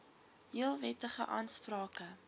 heel wettige aansprake